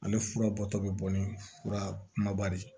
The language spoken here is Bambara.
Ale fura bɔtɔ bɛ bɔ ni fura kumaba de ye